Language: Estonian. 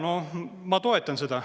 No ma toetan seda.